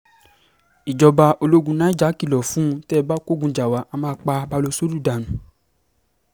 ìjọba ológun niger kìlọ̀ fún tẹ́ ẹ bá kógun jà wà á máa pa baʹlosódù dànù